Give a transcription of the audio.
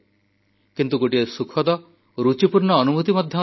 କିନ୍ତୁ ଗୋଟିଏ ସୁଖଦ ଓ ରୁଚିପୂର୍ଣ୍ଣ ଅନୁଭୂତି ମଧ୍ୟ ଅଛି